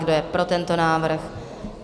Kdo je pro tento návrh?